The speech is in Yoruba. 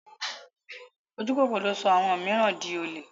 Ojúkòkòrò ló sọ àwọn mìíràn di olè.